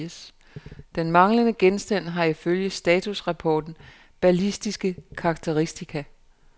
Den manglende genstand har ifølge statusrapporten ballistiske karakteristika.